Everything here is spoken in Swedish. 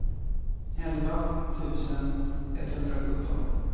elva tusen etthundrasjutton